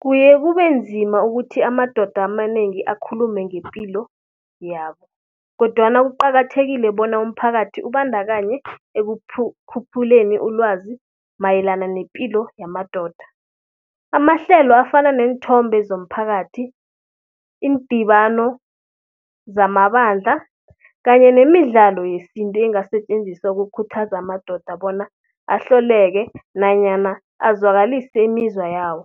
Kuye kube nzima ukuthi amadoda amanengi akhulume ngepilo yabo. Kodwana kuqakathekile bona umphakathi ubandakanye ekukhuphuleni ulwazi mayelana nepilo yamadoda. Amahlelo afana neenthombe zomphakathi, iindibano zamabandla kanye nemidlalo yesintu engasetjenziswa ukukhuthaza amadoda bona ahleleke nanyana azwakalise imizwa yabo.